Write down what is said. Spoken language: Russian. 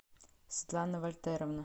светлана вальтеровна